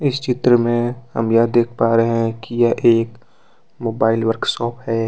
इस चित्र में हम यह देख पा रहे हैं कि यह एक मोबाइल वर्कशॉप है।